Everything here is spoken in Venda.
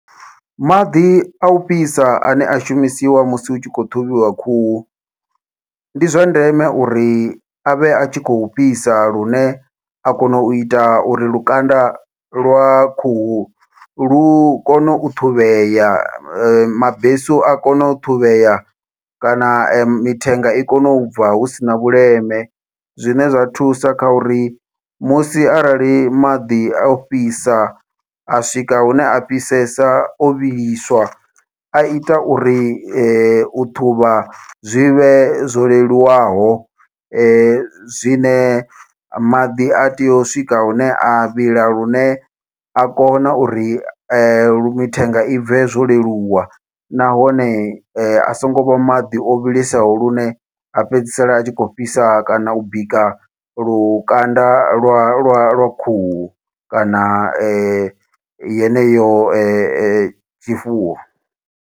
Maḓi au fhisa ane a shumisiwa musi hu tshi khou ṱhuvhiwa khuhu, ndi zwa ndeme uri avhe atshi khou fhisa lune a kona uita uri lukanda lwa khuhu lu kone u ṱhuvhea mabesu a kone u ṱhuvhea kana mithenga i kone ubva husina vhuleme. Zwine zwa thusa kha uri musi arali maḓi au fhisa a swika hune a fhisesa o vhiliswa aita uri u ṱhuvha zwivhe zwo leluwaho zwine maḓi a tea u swika hune a vhila lune a kona uri lu mithenga i bve zwo leluwa, nahone a songo vha maḓi o vhilesaho lune a fhedzisela a tshi kho fhisa kana u bika lukanda lwa lwa lwa khuhu, kana yeneyo tshifuwo.